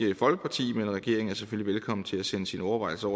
folkeparti men regeringen er selvfølgelig velkommen til at sende sine overvejelser